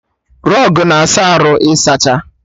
Rọgụ n'ahịa arụ ịzacha